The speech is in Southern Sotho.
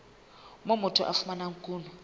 moo motho a fumanang kuno